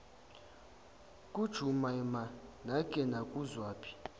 kajumaima nake nakuzwaphi